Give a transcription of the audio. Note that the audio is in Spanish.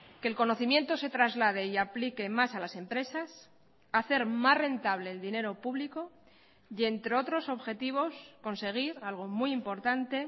que el conocimiento se traslade y aplique más a las empresas hacer más rentable el dinero público y entre otros objetivos conseguir algo muy importante